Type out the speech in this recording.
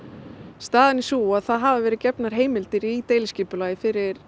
staðan er sú að það hafa verið gefnar heimildir í deiliskipulagi fyrir